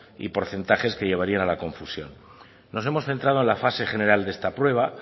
y porcentajes que llevarían a la confusión nos hemos centrado en la fase general de esta prueba